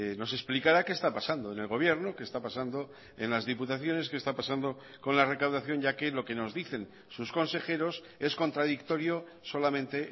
nos explicara qué está pasando en el gobierno qué está pasando en las diputaciones qué está pasando con la recaudación ya que lo que nos dicen sus consejeros es contradictorio solamente